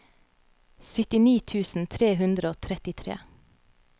syttini tusen tre hundre og trettitre